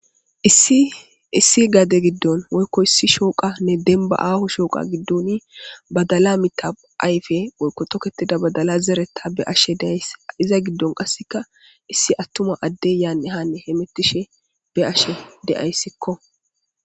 Issi issi gade giddon woykko issi shooqanne dembba aaho shooqa goddon badala mitha ayfe woykko tokethida badala zeretha be'ashe de'ays iza giddon qassekka issi attuma adde yanne hanne be'ashe de'aysikko